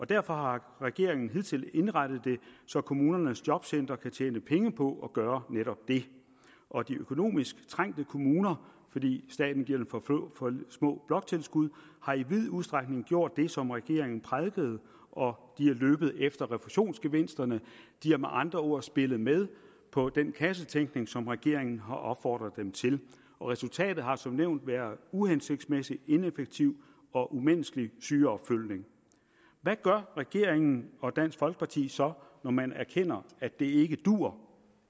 derfor har regeringen hidtil indrettet det så kommunernes jobcentre kan tjene penge på at gøre netop det og de økonomisk trængte kommuner fordi staten giver dem for små bloktilskud har i vid udstrækning gjort det som regeringen prædikede og er løbet efter refusionsgevinsterne de har med andre ord spillet med på den kassetænkning som regeringen har opfordret dem til og resultatet har som nævnt været uhensigtsmæssig ineffektiv og umenneskelig sygeopfølgning hvad gør regeringen og dansk folkeparti så når man erkender at det ikke duer